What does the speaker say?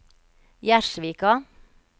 Gjerdsvika